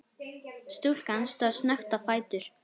Stúlkan stóð snöggt á fætur.